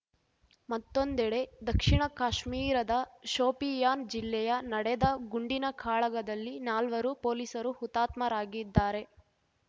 ಮತ್ತೊಂದೆಡೆ ದಕ್ಷಿಣ ಕಾಶ್ಮೀರದ ಶೋಪಿಯಾನ್‌ ಜಿಲ್ಲೆಯ ನಡೆದ ಗುಂಡಿನ ಕಾಳಗದಲ್ಲಿ ನಾಲ್ವರು ಪೊಲೀಸರು ಹುತಾತ್ಮರಾಗಿದ್ದಾರೆ